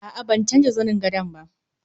A'a ban canja zani gadon ba